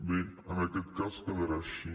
bé en aquest cas quedarà així